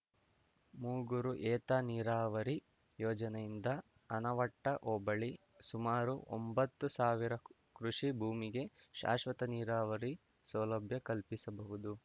ಮೂಗೂರು ಏತನೀರಾವರಿ ಯೋಜನೆಯಿಂದ ಆನವಟ್ಟಹೋಬಳಿ ಸುಮಾರು ಒಂಭತ್ತು ಸಾವಿರ ಕೃಷಿ ಭೂಮಿಗೆ ಶಾಶ್ವತ ನೀರಾವರಿ ಸೌಲಭ್ಯ ಕಲ್ಪಿಸಬಹುದು